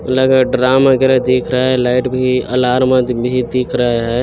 लग ड्राम वगेरा दिख रहा है लाइट भी अलार्म भी दिख रहा है ।